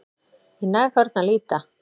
Í næg horn að líta